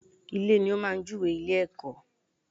Ilè ni ó máa jú we ilé -èkó